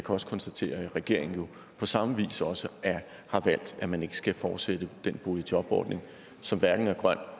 også konstatere at regeringen jo på samme vis også har valgt at man ikke skal fortsætte den boligjobordning som hverken er grøn